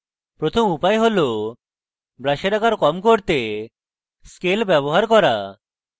প্রথম উপায় হল brush আকার কম করতে scale ব্যবহার করা